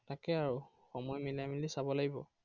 তাকে আৰু, সময় মিলাই মিলে চাব লাগিব।